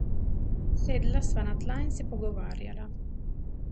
Sedla sva na tla in se pogovarjala.